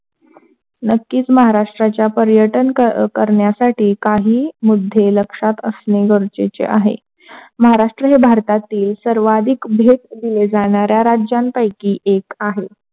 नक्कीच महाराष्ट्राच्या पर्यटन कर करण्यासाठी काही मुद्दे लक्षात असणे गरजेचे आहे, महाराष्ट्र भारतातील सर्वाधिक भेट जाणारा राज्यांपैकी आहे.